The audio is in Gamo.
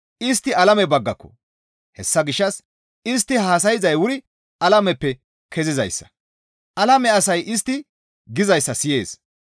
Istti alame baggako; hessa gishshas istti haasayzay wuri alameppe kezizayssa; alame asay istti gizayssa siyees.